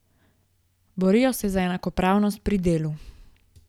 Borijo se za enakopravnost pri delu.